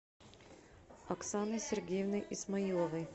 оксаной сергеевной исмаиловой